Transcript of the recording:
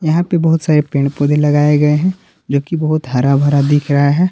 यहां पे बहुत सारे पेड़ पौधे लगाए गए हैं जो की बहुत हराभरा दिख रहा है।